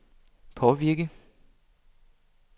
påvirke